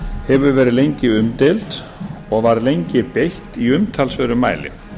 hefur verið lengi umdeild og var lengi beitt í umtalsverðum mæli